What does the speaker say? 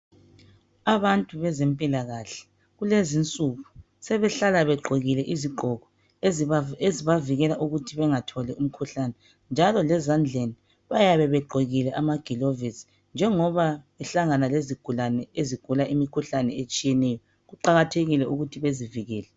Abantu bezempilakahle, kulezi insuku, sebehlala begqokile izigqoko ezibavikela ukuthi bangatholi umkhuhlane, njalo lezandleni, bayabe gegqokile amagilovisi. Njengoba behlangana lezigulane, ezigula imikhuhlane tshiyeneyo, Kuqakathekile ukuthi bazivikele.